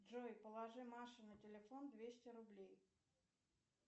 джой положи маше на телефон двести рублей